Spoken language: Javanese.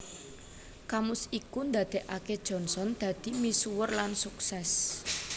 Kamus iku ndadekake Johnson dadi misuwur lan sukses